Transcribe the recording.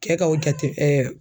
Kɛ ka o jate